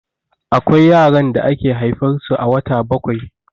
Akwai yaran da ake haifar su a wata bakwai